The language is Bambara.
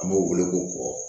An b'o wele k'o bɔ